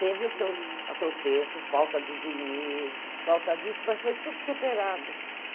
Teve os seus atropessos, falta de dinheiro, falta disso, mas foi tudo superado.